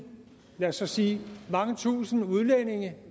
lad os så sige mange tusinde udlændinge